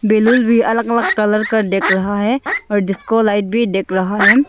Balloon भी अलग अलग कलर का देक रहा है और डिस्को लाईट भी देक रहा है।